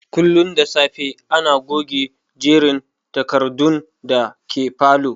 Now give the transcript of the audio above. Kullum da safe ana goge jerin takardun da ke falow